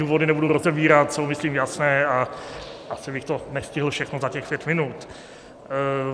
Důvody nebudu rozebírat, jsou myslím jasné a asi bych to nestihl všechno za těch pět minut.